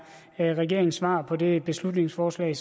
er regeringens svar på det beslutningsforslag